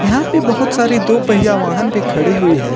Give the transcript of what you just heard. यहां पे बहोत सारे दो पहिया वाहन भी खड़ी हुई है।